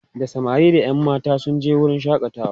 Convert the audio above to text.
da samari da ƴan matan sun je wurin shakatawa